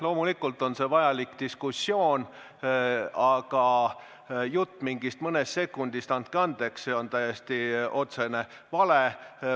Loomulikult on see vajalik diskussioon, aga jutt mingist mõnest sekundist, andke andeks, on täiesti otsene vale.